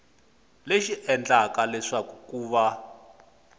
lexi endlaka leswaku ku va